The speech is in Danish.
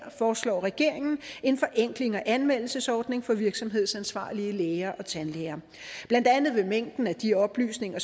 foreslår regeringen en forenkling af anmeldelsesordningen for virksomhedsansvarlige læger og tandlæger blandt andet vil mængden af de oplysninger